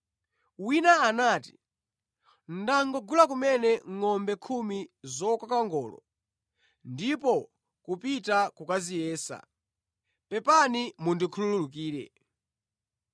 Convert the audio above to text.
“Wina anati, ‘Ndangogula kumene ngʼombe khumi zokoka ngolo ndipo kupita kukaziyesa. Pepani mundikhululukire.’